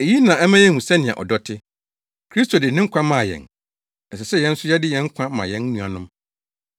Eyi na ɛma yehu sɛnea ɔdɔ te. Kristo de ne nkwa maa yɛn. Ɛsɛ sɛ yɛn nso yɛde yɛn nkwa ma yɛn nuanom.